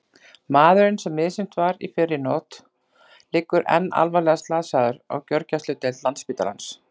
Maðurinn sem misþyrmt var í fyrrinótt liggur enn alvarlega slasaður á gjörgæsludeild Landspítalans.